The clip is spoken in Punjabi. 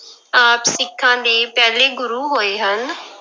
ਆਪ ਸਿੱਖਾਂਂ ਦੇ ਪਹਿਲੇ ਗੁਰੂ ਹੋਏ ਹਨ।